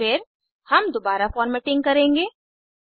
फिर हम दुबारा फ़ॉर्मेटिंग करेंगे